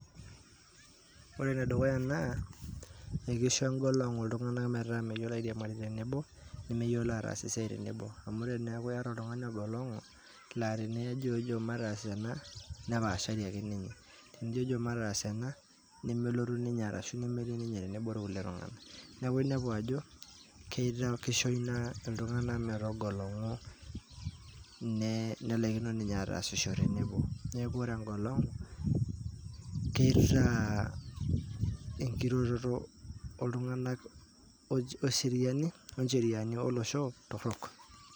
Ore na dukuya na ekisho engolongu iltungana m eeta meyiolo airiamari tenebo, nemeyiolo atas esiai tenebo, amu teniaku iyata oltungani ogolongu, la tenijojo matas ena nepashari ake ninye, tenijojo mataas ena nemelotu ninye, ashu nemetii atua ilkulie tungana, niaku inepu ajo kisho ina iltungana metogolongu, ne nelakino ninye atasisho tenebo, niaku ore engolongu kitaa enkiroroto oltunganaak ooncheriani olosho torok.